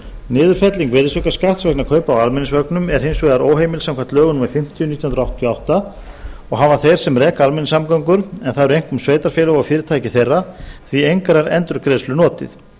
niðurfelling virðisaukaskatts vegna kaupa á almenningsvögnum er hins vegar óheimil samkvæmt lögum númer fimmtíu nítján hundruð áttatíu og átta og hafa þeir sem reka almenningssamgöngur en það eru einkum sveitarfélög og fyrirtæki þeirra því engrar endurgreiðslu notið